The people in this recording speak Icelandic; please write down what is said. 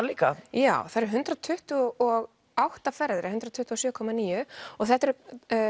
líka já þar eru hundrað tuttugu og átta ferðir eða hundrað tuttugu og sjö komma níu og þetta eru